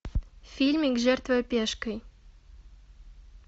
фильмик жертвуя пешкой